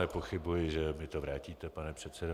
Nepochybuji, že mi to vrátíte, pane předsedo.